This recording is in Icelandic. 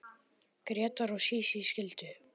Grétar og Sísí skildu.